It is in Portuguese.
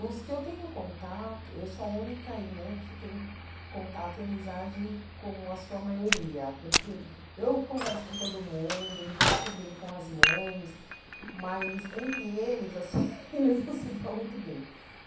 Os que eu tenho contato, eu sou a única irmã que tem contato e amizade com a sua maioria, porque eu converso com todo mundo, me dou super bem com as mães, mas entre eles, assim, eles não se dão muito bem.